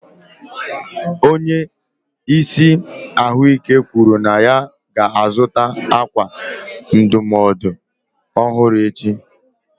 Onye isi ahụike kwuru na ya ga-azụta ákwà ndụmọdụ ọhụrụ echi.